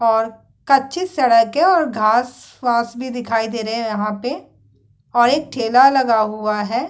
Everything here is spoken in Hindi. और कच्ची सड़क है और घास -वास भी दिखाई रहे हैं यहाँ पे और एक ठेला लगा हुआ है।